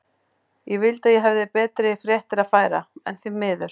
Ég vildi að ég hefði betri fréttir að færa, en því miður.